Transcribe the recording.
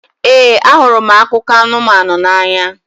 Ee, ahụrụ m akụkọ anụmanụ n'anya.